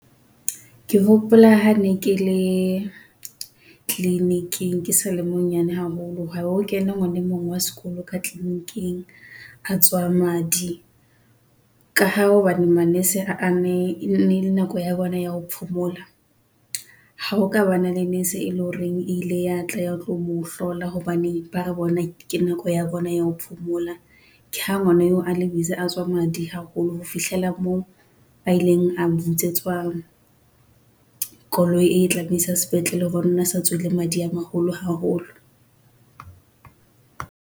Ke hopola hane kele clinic-ing, ke sale monyane haholo ha ho kena ngwanemong wa sekolo ka clinic-ing a tswa madi, ka ha hobane manese a ne e ne ele nako ya bona ya ho phomola, ha o ka bana le nese e leng horeng ile ya tla ya tlo mo hlola hobane ba re bona ke nako ya bona ya ho phomola. Ke ha ngwana eo a le a tswa madi haholo ho fihlela moo ba ileng a bitsetswa, koloi e tlabe isa sepetlele hobane o ne a se a tswile madi a maholo haholo.